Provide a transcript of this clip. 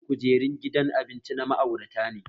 Tsarin kujerin gidan abincin na ma'aurata ne